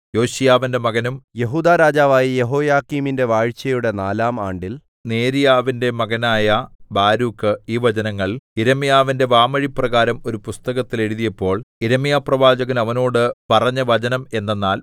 യോശീയാവിന്റെ മകനും യെഹൂദാരാജാവുമായ യെഹോയാക്കീമിന്റെ വാഴ്ചയുടെ നാലാം ആണ്ടിൽ നേര്യാവിന്റെ മകനായ ബാരൂക്ക് ഈ വചനങ്ങൾ യിരെമ്യാവിന്റെ വാമൊഴിപ്രകാരം ഒരു പുസ്തകത്തിൽ എഴുതിയപ്പോൾ യിരെമ്യാപ്രവാചകൻ അവനോട് പറഞ്ഞ വചനം എന്തെന്നാൽ